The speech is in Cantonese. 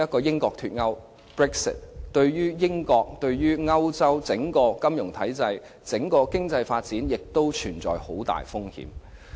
英國脫歐對英國、以至歐洲的整體金融體制和經濟發展均存在重大風險。